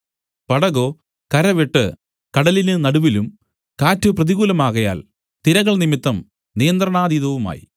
പടകോ കരവിട്ട് കടലിന് നടുവിലും കാറ്റ് പ്രതികൂലമാകയാൽ തിരകൾ നിമിത്തം നിയന്ത്രണാതീതവുമായി